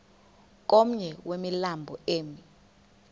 komnye wemilambo emi